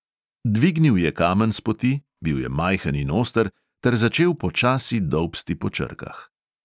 Dvignil je kamen s poti, bil je majhen in oster, ter začel počasi dolbsti po črkah.